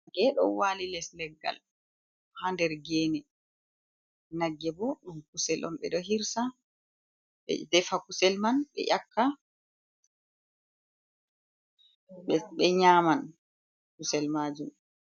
Nge ɗo waali les leggal, haa nder geene, nagge boo kusel on ɓe ɗo hirsa, ɓe defa kusel man ɓe yakka, ɓe nyaama kusel maajum.